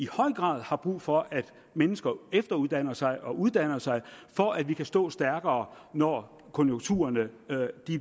grad har brug for at mennesker efteruddanner sig og uddanner sig for at vi kan stå stærkere når konjunkturerne